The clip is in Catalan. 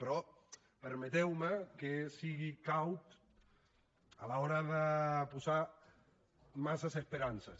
però permeteu me que sigui caut a l’hora de posar massa esperances